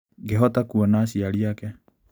Ngĩhota kuona aciari ake.